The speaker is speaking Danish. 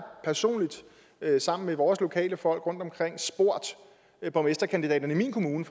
personligt sammen med vores lokale folk rundtomkring spurgt borgmesterkandidaterne i min kommune